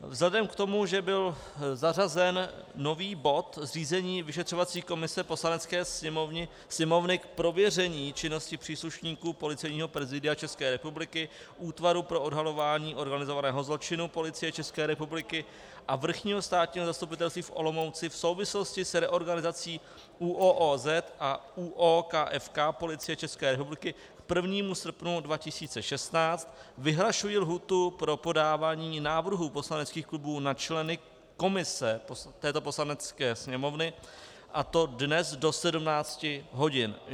Vzhledem k tomu, že byl zařazen nový bod zřízení vyšetřovací komise Poslanecké sněmovny k prověření činnosti příslušníků Policejního prezidia České republiky, Útvaru pro odhalování organizovaného zločinu Policie České republiky a Vrchního státního zastupitelství v Olomouci v souvislosti s reorganizací ÚOOZ a ÚOKFK Policie České republiky k 1. srpnu 2016, vyhlašuji lhůtu pro podávání návrhů poslaneckých klubů na členy komise této Poslanecké sněmovny, a to dnes do 17 hodin.